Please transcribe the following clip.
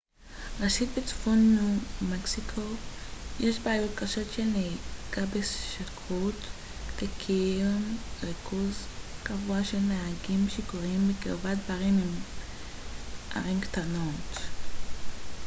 ראשית בצפון ניו מקסיקו יש בעיות קשות של נהיגה בשכרות וקיים ריכוז גבוה של נהגים שיכורים בקרבת ברים של ערים קטנות